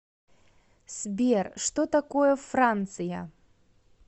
сбер что такое франция